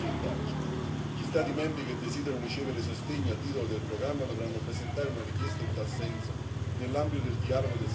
Gli Stati membri che desiderano ricevere sostegno a titolo del programma dovranno presentare una richiesta in tal senso nell'ambito del dialogo del Semestre europeo.